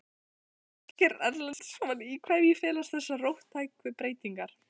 Ásgeir Erlendsson: Í hverju felast þessar róttæku breytingar?